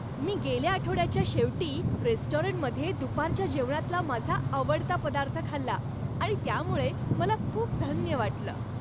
मी गेल्या आठवड्याच्या शेवटी रेस्टॉरंटमध्ये दुपारच्या जेवणातला माझा आवडता पदार्थ खाल्ला आणि त्यामुळे मला खूप धन्य वाटलं.